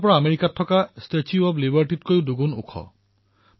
এয়া আমেৰিকাৰ statue of liberty প্ৰতিমাৰো দুগুণ উচ্চতাৰ